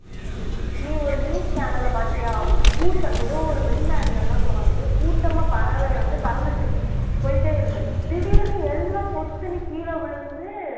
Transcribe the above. நீ ஒரு news channel ல பார்த்தியா கூட்~ ஏதோ ஒரு வெளிநாடுலன்னுதான் தோணுது கூட்டமா பறவை வந்து பறந்துச்சு போயிட்டே இருந்தது திடீர்ன்னு எல்லாம் பொத்துன்னு கீழே விழுந்து